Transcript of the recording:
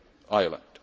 context of